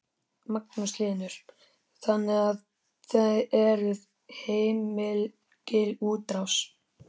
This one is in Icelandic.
Magnús Hlynur: Þannig að þið eruð í heilmikilli útrás?